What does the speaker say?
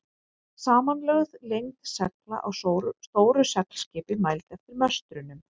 Samanlögð lengd segla á stóru seglskipi, mæld eftir möstrunum.